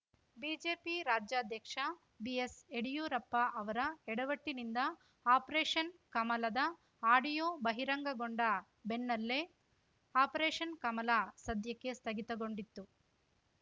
BJP ರಾಜ್ಯಾಧ್ಯಕ್ಷ B S Yeddyurappa ಅವರ ಎಡವಟ್ಟಿನಿಂದ ಆಪ್ರೇಷನ್ ಕಮಲದ ಆಡಿಯೋ ಬಹಿರಂಗಗೊಂಡ ಬೆನ್ನಲ್ಲೇ ಆಪ್ರೇಷನ್ ಕಮಲ ಸದ್ಯಕ್ಕೆ ಸ್ಥಗಿತಗೊಂಡಿತ್ತು